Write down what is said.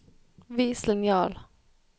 vis linjal